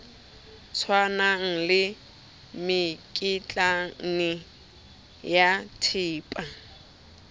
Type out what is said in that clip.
tshwanang le mekitlane ya thepa